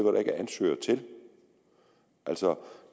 er ansøgere til altså